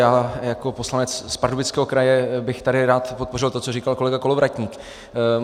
Já jako poslanec z Pardubického kraje bych tady rád podpořil to, co říkal kolega Kolovratník.